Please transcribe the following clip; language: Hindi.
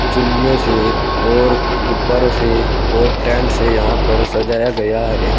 चुन्नियों से और गुब्बारों से और टेंट से यहां पर सजाया गया है।